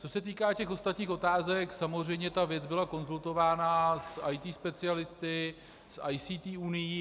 Co se týká těch ostatních otázek, samozřejmě ta věc byla konzultována s IT specialisty, s ICT unií.